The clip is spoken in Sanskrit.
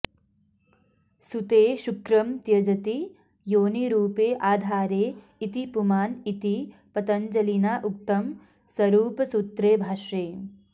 सूते शुक्रं त्यजति योनिरुपे आधारे इति पुमान् इति पतञ्जलिना उक्तं सरुपसूत्रे भाष्ये